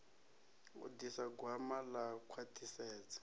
u ḓisa gwama ḽa khwaṱhisedzo